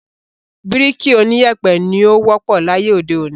Bíríkì oníyèpè ni ó wọ́pọ̀ láyé òde òní.